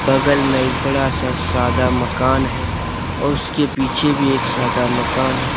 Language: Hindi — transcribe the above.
बगल में एक बड़ा सा सादा मकान है और उसके पीछे भी एक सादा मकान है।